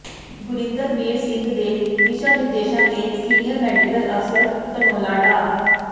ਗੁਰਿੰਦਰਬੀਰ ਸਿੰਘ ਦੇ ਦਿਸ਼ਾਂ ਨਿਰਦੇਸ਼ਾਂ ਤੇ ਸੀਨੀਅਰ ਮੈਡੀਕਲ ਅਫ਼ਸਰ ਧਨੌਲਾ ਡਾ